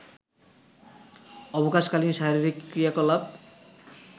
অবকাশকালীন শারীরিক ক্রিয়াকলাপ